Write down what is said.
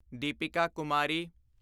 Deepika Kumari